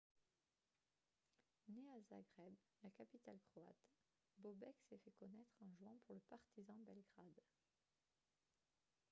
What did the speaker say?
né à zagreb la capitale croate bobek s'est fait connaître en jouant pour le partizan belgrade